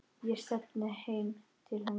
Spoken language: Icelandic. Ég stefni heim til hennar.